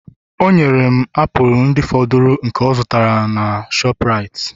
o nyere m apụl ndị fọdụrụ nke ọ zụtara n'aka shoprite